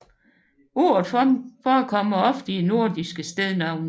Ordet forekommer ofte i nordiske stednavne